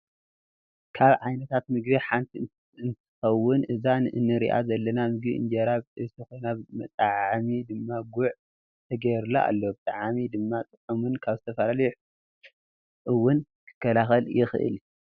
ካብ ዓይነታት ምግቢ ሓንቲ እንትከው እዛ እንሪኣ ዘለና ምግቢ እንጀራ ብጥብሲ ኮይና መጣዓዓሚ ድማ ጉዕ ተገይሩላ ኣሎ ብጣዕሚ ድማ ጥዑሙን ካብ ዝተፈላለዩ ሕማማት እውን ክከላከል ይክእል እዩ።